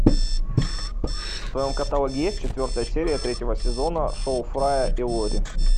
в твоем каталоге есть четвертая серия третьего сезона шоу фрая и лори